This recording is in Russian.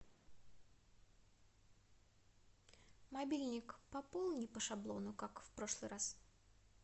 мобильник пополни по шаблону как в прошлый раз